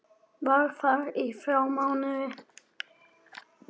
Var þar í þrjá mánuði.